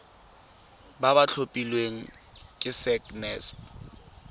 ba ba tlhophilweng ke sacnasp